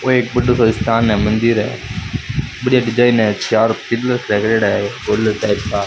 वह एक बडो सो स्थान है मंदिर है बढ़िया डिजाइन है --